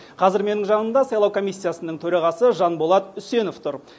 қазір менің жанымда сайлау комиссиясының төрағасы жанболат үсенов тұр